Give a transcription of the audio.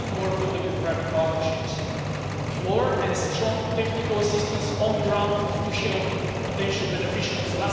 create more public and private partnerships, and more and strong technical assistance on the ground to help potential beneficiaries